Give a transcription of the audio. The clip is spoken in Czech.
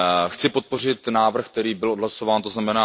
Chci podpořit návrh, který byl odhlasován, tzn.